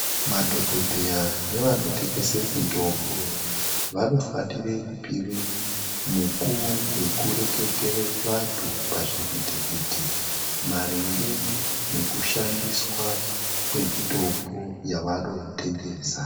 Madhokodheya nevanotengesa mitombo vanofana kupiwe mukuwo wekureketera nevantu pazvivhitivhiti maringe nekushandiswa kwemitombo yavanotengesa.